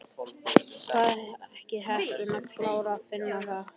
Var ekki heppni að klára Finna þá?